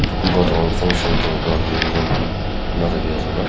kumba function program event enea thaki ase hola.